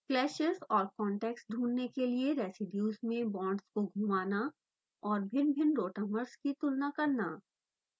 clashes और contacts ढूँढने के लिए रेसीड्यूज़ में बांड्स को घुमाना और भिन्नभिन्न rotamers की तुलना करना